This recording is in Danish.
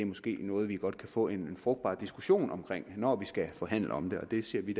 måske er noget vi godt kan få en frugtbar diskussion om når vi skal forhandle om det og det ser vi